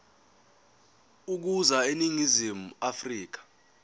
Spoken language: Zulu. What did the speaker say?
ukuza eningizimu afrika